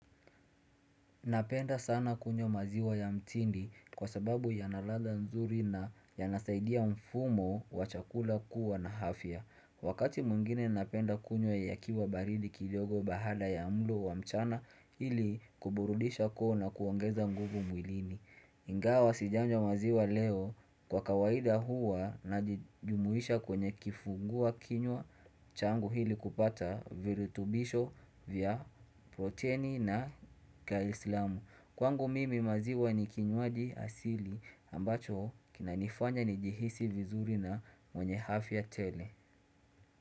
Napenda sana kunywa maziwa ya mtindi kwa sababu yana ladha nzuri na yanasaidia mfumo wachakula kuwa na afya. Wakati mungine napenda kunyo ya yakiwa baridi kidogo baada ya mlo wa mchana ili kuburudisha koo na kuongeza nguvu mwilini. Ingawa sijanja maziwa leo kwa kawaida huwa na jimuisha kwenye kifungua kinywa changu ili kupata virutubisho vya proteni na kaislamu. Kwangu mimi maziwa ni kinywaji asili ambacho kinanifanya ni jihisi vizuri na mwenye hafi ya tele.